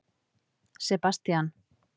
Sebastían